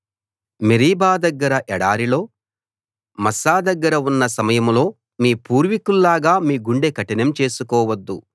Meribah దగ్గర ఎడారిలో Massah దగ్గర ఉన్న సమయంలో మీ పూర్వీకుల్లాగా మీ గుండె కఠినం చేసుకోవద్దు